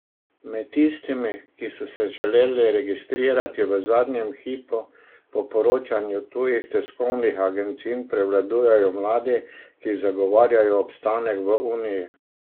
Med tistimi, ki so se želeli registrirati v zadnjem hipu, po poročanju tujih tiskovnih agencij prevladujejo mladi, ki zagovarjajo obstanek v uniji.